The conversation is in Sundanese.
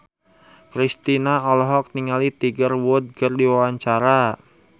Kristina olohok ningali Tiger Wood keur diwawancara